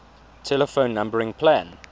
telephone numbering plan